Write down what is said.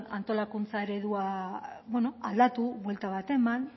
antolakuntza eredua aldatu buelta bat eman